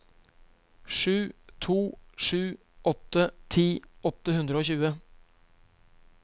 sju to sju åtte ti åtte hundre og tjue